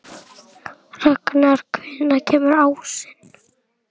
Ragnar, hvenær kemur ásinn?